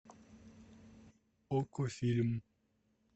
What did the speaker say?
окко фильм